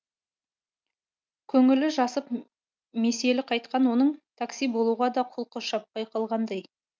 көңілі жасып меселі қайтқан оның такси болуға да құлқы шаппай қалғандай